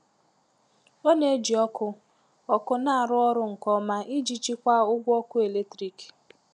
Ọ na-eji ọkụ ọkụ na-arụ ọrụ nke ọma iji chikwaa ụgwọ ọkụ eletrik.